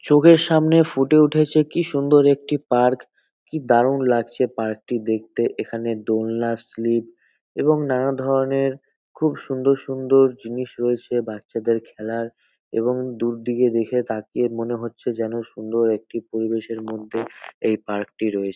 চোখের সামনে ফুটে উঠেছে কি সুন্দর একটি পার্ক । কি দারুন লাগছে পার্ক টি দেখতে। এখানে দোলনা স্লিপ এবং নানা ধরনের খুব সুন্দর সুন্দর জিনিস রয়েছে বাচ্চাদের খেলার এবং দূর দিকে দেখে তাকিয়ে মনে হচ্ছে যেন সুন্দর একটি পরিবেশের মধ্যে এই পার্ক টি রয়েছে।